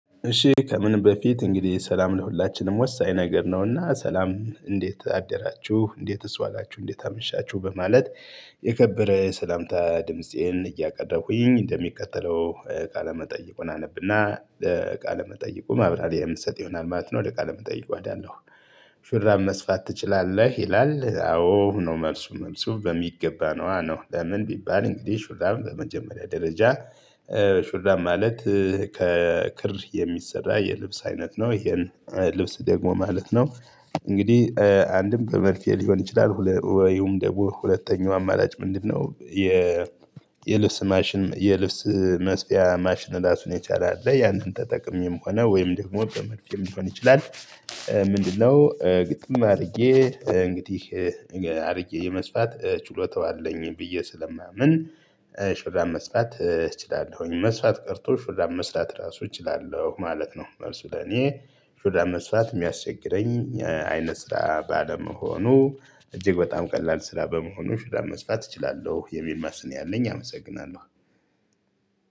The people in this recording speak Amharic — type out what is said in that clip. እሺ ከምንም በፊት እንግዲህ ሰላም ለሁላችንም ወሳኝ ነገር ነውና ሰላም እንዴት አደራችሁ! እንዴትስ ዋላችሁ! እንዴት አመሻችሁ በማለት የከበረ ሰላምታ ድምፄን እያቀረብኩኝ እንደሚከተለው ቃለ መጠይቁን አነብና ቃለ መጠይቁ ማብራሪያ የምሰጥ ይሆናል ማለት ነው። ወደ ቃለ መጠይቁ እሄዳለሁ። ሹራብ መስፋት ትችላለህ? ይላል አዎ ነው መልሱ መልሱ በሚገባ ነዋ! ለምን ቢባል እንግዲህ ሹራበ በመጀመሪያ ደረጃ ሹራብ ማለት ከክር የሚሰራ የልብስ አይነት ነው። ይሄን ልብስ ደግሞ ማለት ነው እንግዲህ አንድም በመርፌ ሊሆን ይችላል ወይም ደግሞ ሁለተኛው አማራጭ ምንድን ነው? የልብስ ማሽነ የልብስ መስፊያ ማሽን እራሱን የቻለ አለ። ያንን ተጠቅሜም ሆነ ወይንም ደግሞ በመርፌም ሊሆን ይችላል ምንድነው ግጥም አድርጌ እንግዲህ አድርጌ የመስፋት ችሎታው አለኝ ብዬ ስለማምን ሹራበ መስፋት እችላለሁኝ። መስፋት ቀርቶ ሹራብ መስራት እራሱ እችላለሁ ማለት ነው። መልሱ ለኔ ሹራብ መስፋት የሚያስቸግረኝ አይነት ስራ ባለመሆኑ እጅግ በጣም ቀላል ስራ በመሆኑ ሹራብ መስፋት እችላለሁ የሚል መልስ ያለኝ አመሰግናለሁ!